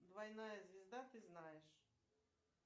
двойная звезда ты знаешь